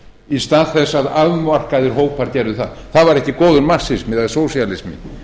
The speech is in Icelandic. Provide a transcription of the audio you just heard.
í stað þess að afmarkaðir hópar gerðu það það væri ekki góður marxismi eða sósíalismi